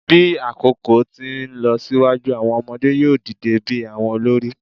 Bi akoko ti nlọsiwaju, awọn ọmọde yoo dide bi awọn olori